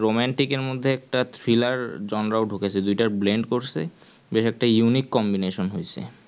romantic এর মধ্যে একটা thriller জনরাও ঢুকেছে দুইটার blend করছে বেশ একটা unique combination হয়েছে